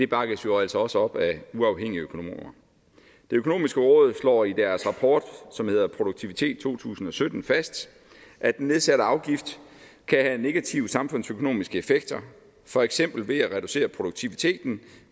bakkes jo altså også op af uafhængige økonomer det økonomiske råd slår i deres rapport som hedder produktivitet to tusind og sytten fast at den nedsatte afgift kan have negative samfundsøkonomiske effekter for eksempel ved at reducere produktiviteten